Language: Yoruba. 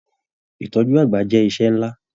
Ìtọjú àgbà jẹ iṣẹ nlá.